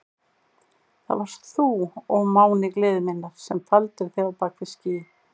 Það varst þú, ó máni gleði minnar, sem faldir þig á bak við ský.